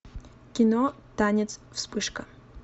кино танец вспышка